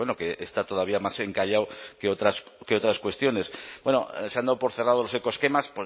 que está todavía más encallado que otras cuestiones bueno se han dado por cerrado los ecoesquemas